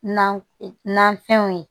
Nafɛnw ye